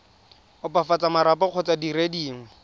opafatsa marapo kgotsa dire dingwe